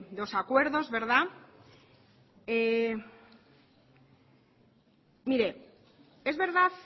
dos acuerdos verdad mire es verdad